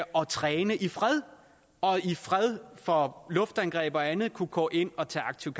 og træne i fred og i fred for luftangreb og andet kunne gå ind og tage aktiv